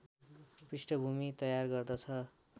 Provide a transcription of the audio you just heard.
पृष्ठभूमि तयार गर्दछ